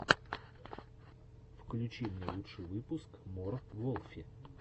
включи мне лучший выпуск мор волфи